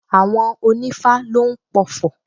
Àwọn onífá lóún pofò